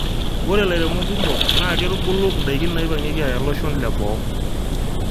ore ilairemok kumok naa keitubulu in'daiki naipang'ieki aaya iloshon leboo